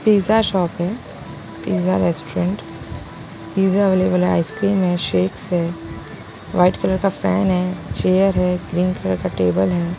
Pizza shop है pizza restaurant pizza available है ice cream and shapes है व्हाइट कलर का फैन है चेयर है ग्रीन कलर का टेबल है।